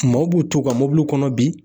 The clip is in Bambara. Maaw b'u to u ka mɔbiliw kɔnɔ bi